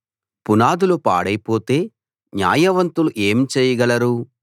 పునాదులు పాడైపోతే న్యాయవంతులు ఏం చెయ్యగలరు